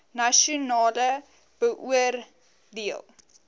nasionaal beoor deel